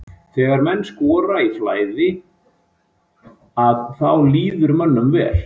Þegar menn skora í flæði að þá líður mönnum vel.